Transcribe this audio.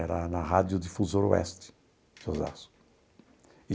Era na Rádio Difusora Oeste de Osasco.